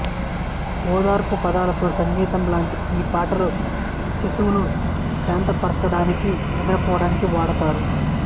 ఓదార్పు పదాలతో సంగీతం లాంటి ఈ పాటలు శిశువును శాంతపరచడానికి నిద్రపోవడానికి వాడుతారు